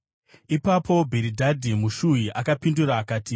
Ipapo Bhiridhadhi muShuhi akapindura akati: